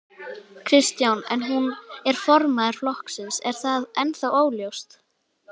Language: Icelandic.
Kristján: En hún er formaður flokksins, er það ennþá óljóst?